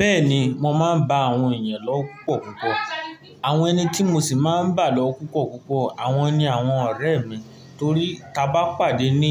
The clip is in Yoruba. Bẹ́ẹ̀ni, mo máa ń bá àwọn èèyàn lọ́wọ́ púpọ̀púpọ̀. Àwọn ẹni tí mo sì máa ń bá lọ́wọ́ púpọ̀púpọ̀, àwọn ni àwọn ọ̀rẹ́ mi torí tí a bá pàdé ní